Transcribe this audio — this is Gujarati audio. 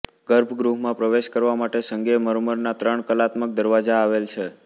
ગર્ભગૃહમાં પ્રવેશ કરવા માટે સંગેમરમરના ત્રણ કલાત્મક દરવાજા આવેલ છે